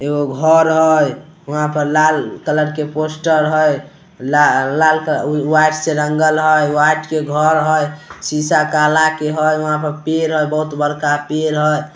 एगो घर हेय वहाँ पर लाल कलर के पोस्टर है ला लाल कलर वा व्‍हाइट रंगल हेय व्‍हाइट के घर हेय शीशा काला के हेय वहाँ पर पेड़ है बहुत बड़का पेड़ है।